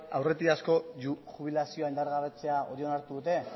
aurretiazkoa jubilazioa indargabetzea onartu dute